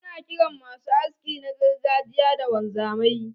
Ana kiran masu haski na gargajiya da wanzamai.